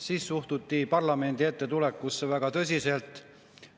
Siis suhtuti parlamendi ette tulekusse väga tõsiselt.